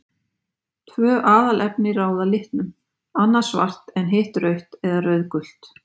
Tvö aðalefni ráða litnum, annað svart en hitt rautt eða rauðgult.